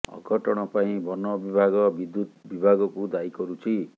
ଅଘଟଣ ପାଇଁ ବନ ବିଭାଗ ବିଦ୍ୟୁତ୍ ବିଭାଗକୁ ଦାୟୀ କରୁଛି